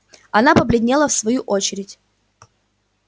она побледнела в свою очередь